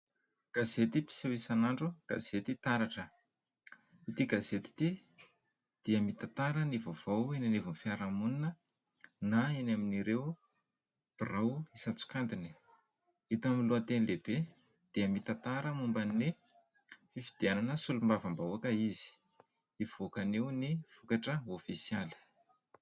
Gazety mpiseho isanandro gazety taratra. Ity gazety ity dia mitantara ny vaovao eny anivony fiarahamonina na eny amin'ireo birao isantsokajiny. Hita aminy lohateny lehibe dia mitantara momba ny fifidianana solombavam-bahoaka izy, hivoaka anio ny vokatra ofisialy.